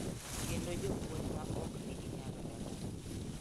Kendo jopuonj ma ok nigi nyalo moromo.